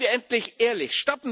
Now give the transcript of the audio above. Seien wir endlich ehrlich!